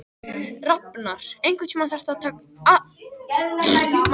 Rafnar, einhvern tímann þarf allt að taka enda.